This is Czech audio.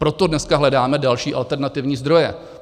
Proto dneska hledáme další, alternativní zdroje.